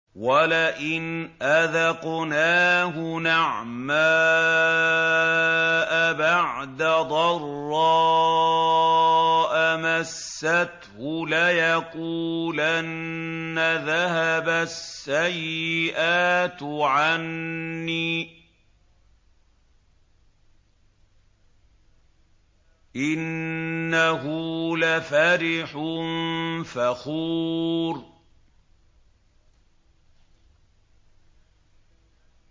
وَلَئِنْ أَذَقْنَاهُ نَعْمَاءَ بَعْدَ ضَرَّاءَ مَسَّتْهُ لَيَقُولَنَّ ذَهَبَ السَّيِّئَاتُ عَنِّي ۚ إِنَّهُ لَفَرِحٌ فَخُورٌ